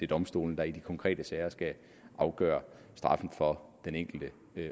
domstolene der i de konkrete sager skal afgøre straffen for den enkelte